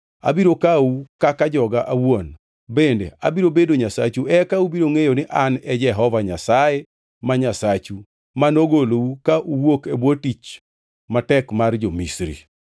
Abiro kawou kaka joga awuon, bende abiro bedo Nyasachu eka ubiro ngʼeyo ni An e Jehova Nyasaye ma Nyasachu, manogolou ka uwuok e bwo tich matek mar jo-Misri.